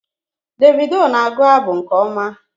Davido na-agụ abụ nke ọma